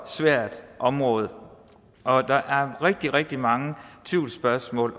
svært område og der er rigtig rigtig mange tvivlsspørgsmål